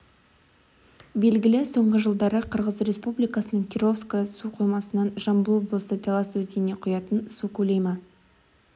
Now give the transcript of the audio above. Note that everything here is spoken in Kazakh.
белгілі соңғы жылдары қырғыз республикасының кировское су қоймасынан жамбыл облысы талас өзеніне құятын су көлемі